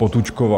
Potůčková.